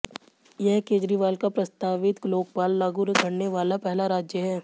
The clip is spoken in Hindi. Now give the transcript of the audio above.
यह केजरीवाल का प्रस्तावित लोकपाल लागू करने वाला पहला राज्य है